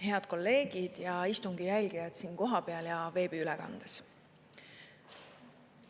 Head kolleegid ja istungi jälgijad siin kohapeal ja veebiülekandes!